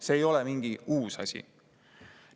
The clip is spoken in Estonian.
See ei ole mingi uus asi.